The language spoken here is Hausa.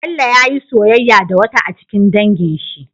Bello yayi soyayya da wata a cikin dangin shi